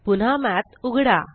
पुन्हा मठ उघडा